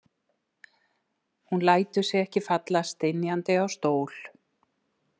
Hún lætur sig ekki falla stynjandi á stól.